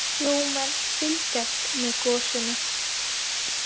Sjómenn fylgjast með gosinu